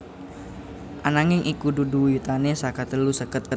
Ananging iku dudu wiwitane saka telu seket